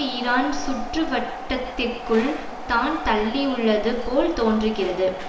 Iran சுற்று வட்டத்திற்குள்தான் தள்ளியுள்ளது போல் தோன்றுகிறது